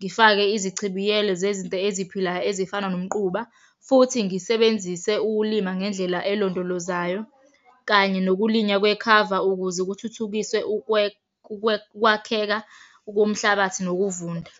Ngifake izichibiyelo zezinto eziphilayo ezifana ngomquba, futhi ngisebenzise ukulima ngendlela elondolozayo, kanye nokulinywa kwekhava ukuze kuthuthukiswe ukwakheka komhlabathi nokuvunda.